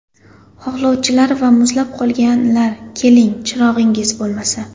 Xohlovchilar va muzlab qolganlar, keling, chirog‘ingiz bo‘lmasa!